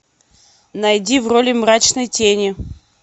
найди в роли мрачной тени